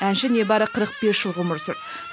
әнші небәрі қырық бес жыл ғұмыр сүрді